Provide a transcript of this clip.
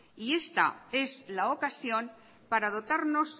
y esta es la ocasión para dotarnos